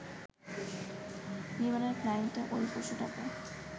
বিমানের ফ্লাইটে ওই পশুটাকে